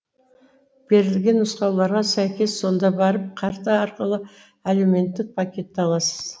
берілген нұсқауларға сәйкес сонда барып карта арқылы әлеуметтік пакетті аласыз